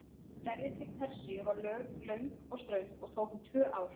Ferðin til Persíu var löng og ströng og tók um tvö ár.